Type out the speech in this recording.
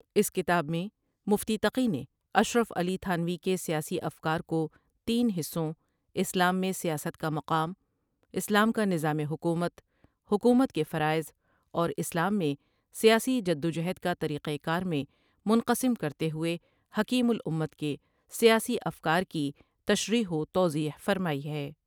اس کتاب میں مفتی تقی نے اشرف علی تھانوی کے سیاسی افکار کو تین حصوں اسلام میں سیاست کا مقام ، اسلام کا نظام حکومت ، حکومت کے فرائض اور اسلام میں سیاسی جد وجہد کا طریق کار میں منقسم کرتے ہوۓ حکیم الامت کے سیاسی افکار کی تشریح و توضیح فرمائی ہے ۔